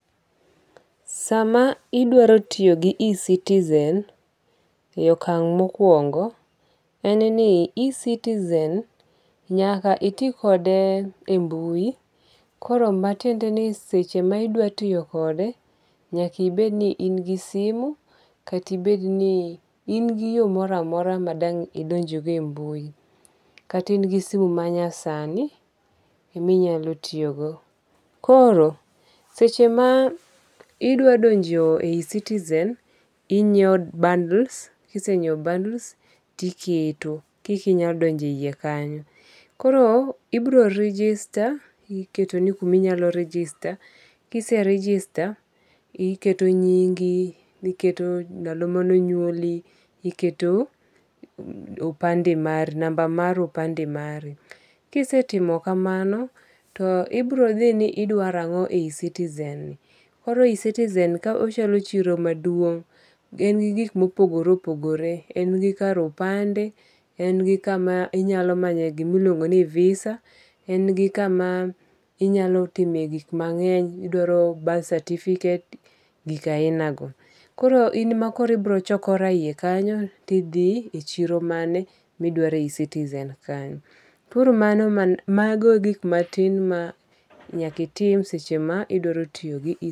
Sama idwaro tiyo E-citize e okang' mokuongo en ni E-citizen nyaka iti kode e mbuyi koro matiende ni seche ma idwa tiyo kode nyaki bed ni in gi simu kata ibed ni in gi yo mora mora ma dang' idonjgo e mbu, kata in gi simu manyasani minyalo tiyogo, koro seche ma idwa donje e E-citizen inyiewo bundles kisenyiewo bundles tiketo koka inyalo donjo e yie kanyo, koro ibro register iketo kuma inyalo register kise register iketo nyingi, iketo ndalo mane onyuoli, iketo ndalo mana, number mar opande mari kisetimo kamano to ibrothi ni idwaro ango' e E-citizen, koro e E-citizen ochalo chiro maduong', en gi gik ma opogore opogore, en gi kare opande, en gi kama inyalo manye gima iluongo ni visa, en gi kama inyalo time gik mange'ny, idwaro birth certificate, gik ahinago, koro in ema ibiro chokora e hiye kanyo tithi e chiro e chiro mane ma idwaro e E-citizen kanyo, koro mago e gik ma tin ma nyaka itim seche ma idwaro tiyo gi E-citizen